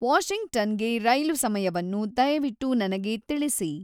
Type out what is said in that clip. ವಾಷಿಂಗ್ಟನ್‌ಗೆ ರೈಲು ಸಮಯವನ್ನು ದಯವಿಟ್ಟು ನನಗೆ ತಿಳಿಸಿ